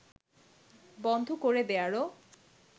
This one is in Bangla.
বন্ধ করে দেয়ারও